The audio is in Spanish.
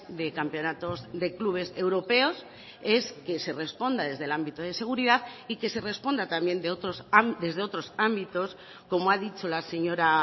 de campeonatos de clubes europeos es que se responda desde el ámbito de seguridad y que se responda también desde otros ámbitos como ha dicho la señora